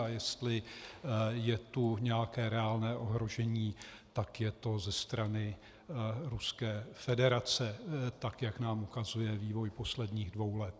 A jestli je tu nějaké reálné ohrožení, tak je to ze strany Ruské federace, tak jak nám ukazuje vývoj posledních dvou let.